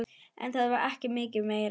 En það var ekki mikið meira.